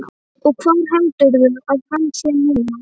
Og hvar heldurðu að hann sé þá núna?